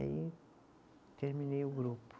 Aí terminei o grupo.